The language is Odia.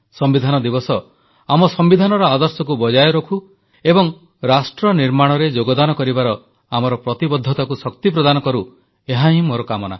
ସମ୍ବିଧାନ ଦିବସ ଆମ ସମ୍ବିଧାନର ଆଦର୍ଶକୁ ବଜାୟ ରଖୁ ଏବଂ ରାଷ୍ଟ୍ର ନିର୍ମାଣରେ ଯୋଗଦାନ କରିବାର ଆମର ପ୍ରତିବଦ୍ଧତାକୁ ଶକ୍ତି ପ୍ରଦାନ କରୁ ଏହାହିଁ ମୋର କାମନା